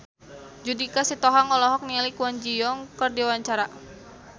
Judika Sitohang olohok ningali Kwon Ji Yong keur diwawancara